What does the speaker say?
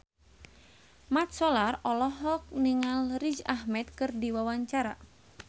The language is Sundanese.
Mat Solar olohok ningali Riz Ahmed keur diwawancara